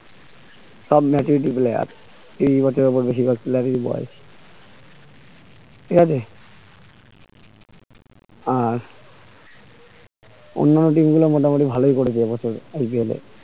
সব match এই dibbler তিন match এ আবার বেশি players boy তোমাদের আহ অন্যনো team গুলো মোটামুটি ভালোই করেছে এইবছর IPL